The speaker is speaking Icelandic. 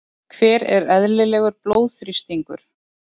hver er eðlilegur blóðþrýstingur